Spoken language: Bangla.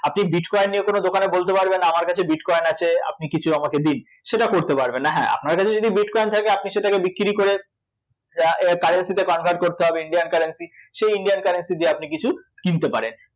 আপনি bitcoin নিয়ে কোনো দোকানে বলতে পারবেন না আমার কাছে bitcoin আছে, আপনি আমাকে কিছু দিন, সেটা করতে পারবেন না, হ্যাঁ আপনার কাছে যদি bitcoin থাকে আপনি সেটিকে বিক্রী করে যা~ এ~ currency তে convert করতে হবে Indian currency সেই Indian currency দিয়ে আপনি কিছু কিনতে পারেন